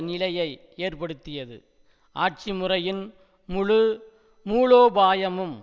நிலையை ஏற்படுத்தியது ஆட்சி முறையின் முழு மூலோபாயமும்